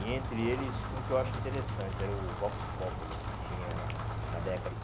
E entre eles, um que eu acho interessante era o Vox Populi, que tinha na década de